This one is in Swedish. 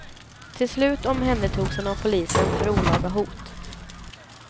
Till slut omhändertogs han av polisen för olaga hot.